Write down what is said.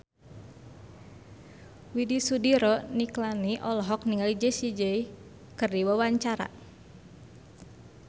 Widy Soediro Nichlany olohok ningali Jessie J keur diwawancara